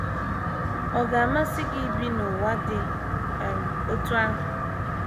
Ọ̀ ga - amasị gị ibi n’ụwa dị um otú ahụ?